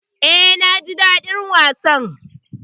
E, naji daɗin wasan.